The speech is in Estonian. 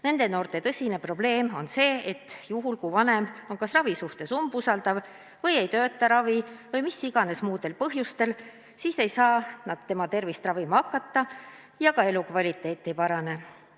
Nende noorte tõsine probleem on see, et juhul, kui vanem on ravi suhtes umbusklik või ei toeta seda või on seal mingisugused muud põhjused, siis ei saa arstid neid ravima hakata ja noorte elukvaliteet ei parane.